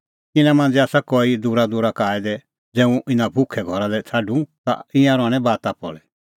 ज़ै हुंह इना भुखै घरा लै छ़ाडूं ता ईंयां थकणैं बाता किल्हैकि इना मांझ़ै आसा कई दूरादूरा का आऐ दै